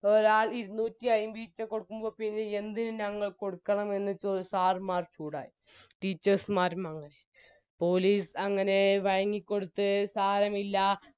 പോയാൽ ഇരുന്നൂറ്റിയമ്പർപ്പ്യ കൊടുക്കുമ്പോൾ പിന്നെ യെന്തിന് ഞങ്ങൾ കൊടുക്കണം എന്ന് ചോദിച്ച് sir മാർ ചൂടായി teachers മ്മാരും അങ്ങനെ police അങ്ങനെ വയങ്ങിക്കൊട്ത്ത് സാരമില്ല